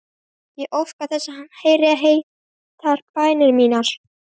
Ég óska þess að hann heyri heitar bænir mínar.